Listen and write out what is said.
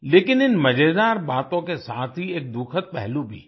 लेकिन इन मजेदार बातों के साथ ही एक दुखद पहलू भी है